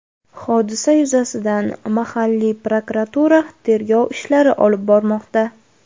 Hodisa yuzasidan mahalliy prokuratura tergov ishlari olib bormoqda.